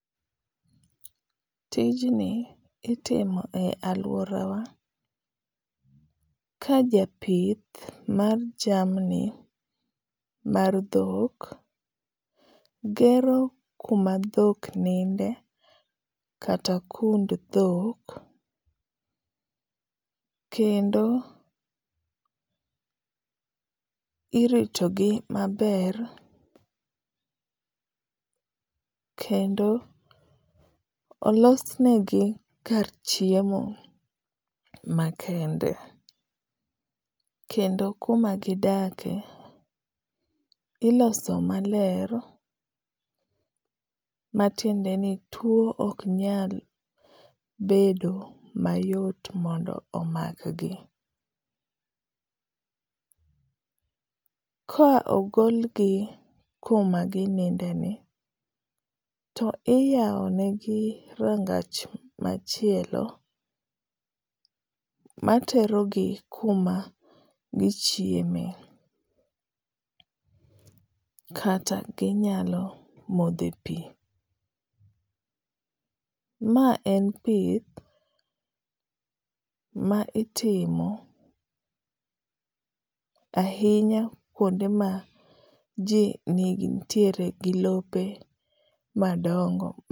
Tijni itimo e alworawa ka japith mar jamni mar dhok gero kuma dhok ninde, kata kund dhok, kendo irito gi maber, kendo olosnegi kar chiemo makende. Kendo kuma gidake, iloso maler, matiende ni two ok nyal bedo mayot mondo omakgi. Ka ogol gi koma gininde ni to iyao negi rangach machielo matero gi kuma gichieme, kata ginyalo modho e pi. Ma en pith ma itimo ahinya kuonde ma ji nitiere gi lope madongo.